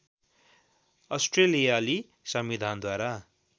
अस्ट्रेलियाली संविधानद्वारा